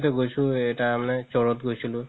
গৈছো তাৰমানে এটা মানে store ত গৈছিলো